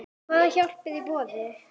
Hvað hjálp er í boði?